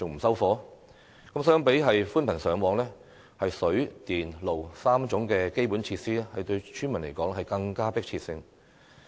相較寬頻上網，水、電、路3種基本設施對村民來說更具迫切性。